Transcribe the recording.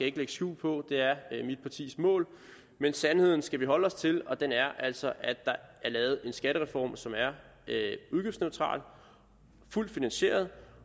ikke lægge skjul på det er mit partis mål men sandheden skal vi holde os til og den er altså at der er lavet en skattereform som er udgiftsneutral og fuldt finansieret